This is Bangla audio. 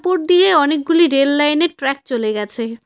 উপর দিয়ে অনেকগুলি রেল লাইন -এর ট্র্যাক চলে গেছে।